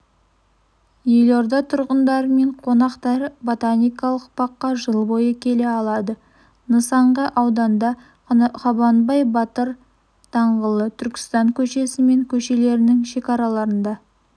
елорда тұрғындары мен қонақтары ботаникалық баққа жыл бойы келе алады нысан га ауданда қабанбай батыр даңғылы түркістан көшесі және көшелердің шекараларында